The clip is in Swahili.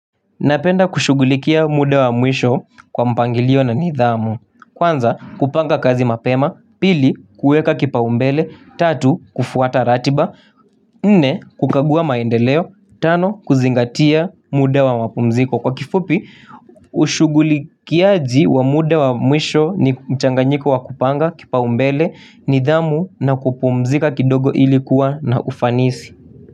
Napenda kushugulikia muda wa mwisho kwa mpangilio na nidhamu, kwanza kupanga kazi mapema, pili kuweka kipa umbele, tatu kufuata ratiba, nne kukagua maendeleo, tano kuzingatia muda wa mpumziko. Kwa kifupi, ushugulikiaji wa muda wa mwisho ni mchanganyiko wa kupanga kipa umbele, nidhamu na kupumzika kidogo ilikuwa na ufanisi.